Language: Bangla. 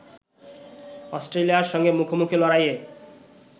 অস্ট্রেলিয়ার সঙ্গে মুখোমুখি লড়াইয়ে